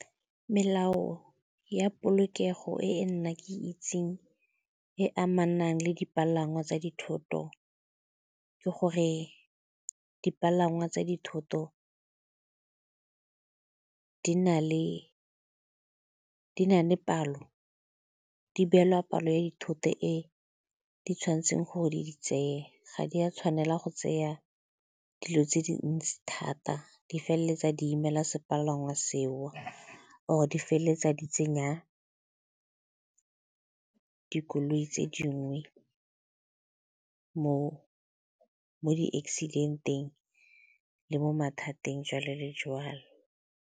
Melao ya polokego e nna ke itseng e amanang le dipalangwa tsa dithoto, ke gore dipalangwa tsa dithoto di na le palo, di beelwa palo ya dithoto fa e di tshwanetseng gore di tseye, ga di a tshwanela go tseya dilo tse dintsi thata, di feleletsa di imela sepalangwa seo or di feleletsa di tsenya dikoloi tse dingwe mo di-accident-eng le mo mathateng, jalo le jalo.